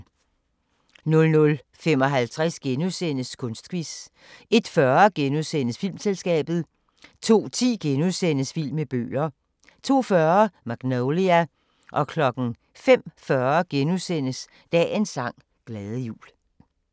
00:55: Kunstquiz * 01:40: Filmselskabet * 02:10: Vild med bøger * 02:40: Magnolia 05:40: Dagens sang: Glade jul *